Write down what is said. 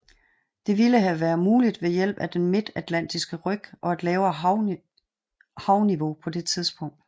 Det ville have været muligt ved hjælp af den Midtatlantiske ryg og et lavere havniveau på det tidspunkt